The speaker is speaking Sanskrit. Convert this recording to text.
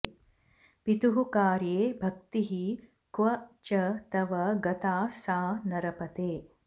पितुः कार्ये भक्तिः क्व च तव गता सा नरपते